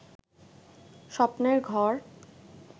স্বপ্নের ঘর